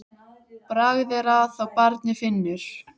Bragð er að þá barnið finnur!